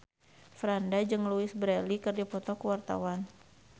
Franda jeung Louise Brealey keur dipoto ku wartawan